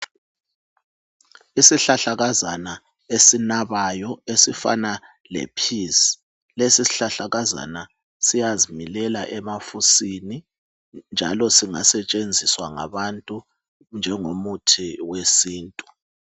Isihlahlakazana esinabayo esifana le peas ,lesi sihlalakazana siyazi milela emafusini njalo singasetshenziswa ngabantu njengomuthi we sintu.